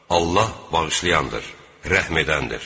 Allah bağışlayandır, rəhm edəndir.